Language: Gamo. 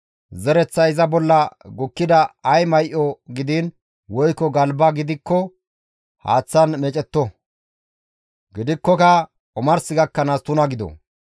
Zereththay iza bolla gukkida ay may7o gidiin woykko galba gidikko haaththan meecetto; gidikkoka omars gakkanaas tuna gido.